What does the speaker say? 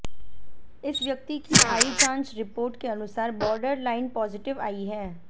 इस व्यक्ति की आई जाँच रिपोर्ट के अनुसार बॉर्डर लाइन पॉजिटिव आई है